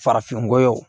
Farafin goya